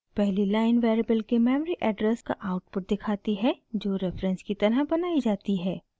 पहली line variable के memory address का आउटपुट दिखाती है जो रेफरेंस की तरह बनाई जाती है